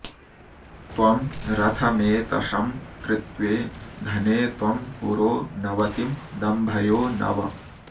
त्वं रथमेतशं कृत्व्ये धने त्वं पुरो नवतिं दम्भयो नव